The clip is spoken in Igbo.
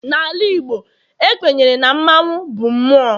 N'ala Igbo, ekwenyere na mmanwu bụ mmụọ.